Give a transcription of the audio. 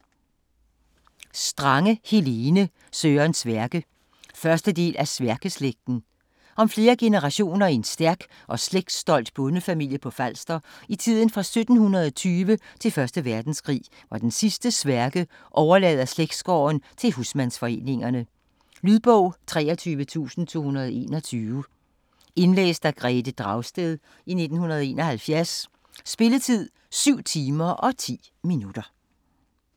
Strange, Helene: Søren Sværke 1. del af Sværkeslægten. Om flere generationer i en stærk og slægtsstolt bondefamilie på Falster i tiden fra 1720 til første verdenskrig, hvor den sidste Sværke overlader slægtsgården til husmandsforeningerne. Lydbog 23221 Indlæst af Grethe Dragsted, 1971. Spilletid: 7 timer, 10 minutter.